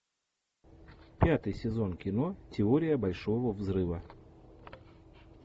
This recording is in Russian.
пятый сезон кино теория большого взрыва